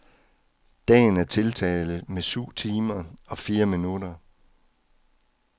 Dagen er tiltaget med syv timer og fire minutter.